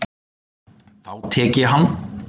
Þá tek ég hann!